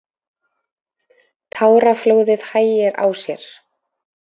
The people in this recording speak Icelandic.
Táraflóðið hægir á sér.